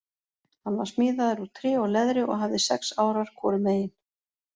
Hann var smíðaður úr tré og leðri og hafði sex árar hvorum megin.